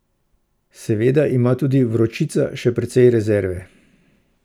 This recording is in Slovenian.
Seveda ima tudi Vročica še precej rezerve.